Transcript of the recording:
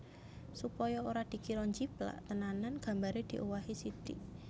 Supaya ora dikira njiplak tenanan gambare diowahi sitik